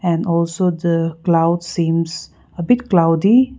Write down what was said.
and also the cloud seems big cloudy.